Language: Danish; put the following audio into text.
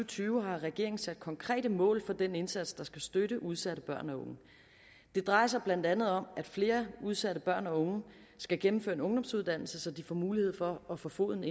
tyve har regeringen sat konkrete mål for den indsats som skal støtte udsatte børn og unge det drejer sig blandt andet om at flere udsatte børn og unge skal gennemføre en ungdomsuddannelse så de får mulighed for at få foden